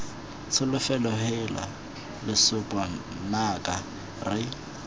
tsholofelo heela lesope nnaka re